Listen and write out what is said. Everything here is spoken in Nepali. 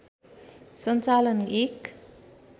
सञ्चालन एक